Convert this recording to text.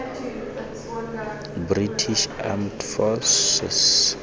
british armed forces